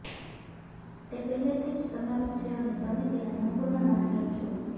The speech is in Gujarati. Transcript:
તે પહેલેથી જ તમારું છે અને તમે તેના સંપૂર્ણ માસ્ટર છો